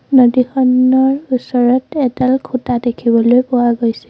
নদীখনৰ ওচৰত এডাল খুঁটা দেখিবলৈ পোৱা গৈছে।